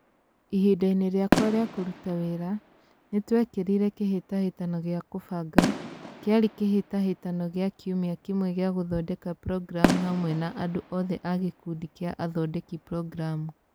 Ihinda-inĩ rĩakwa rĩa kũruta wĩra, nĩ twekĩrire kĩhĩtahĩtano gĩa kũbanga, kĩarĩ kĩhĩtahĩtano gĩa kiumia kĩmwe gĩa gũthondeka programu hamwe na andũ othe a gĩkundi kĩa athondeki programu.